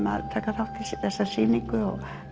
að taka þátt í þessari sýningu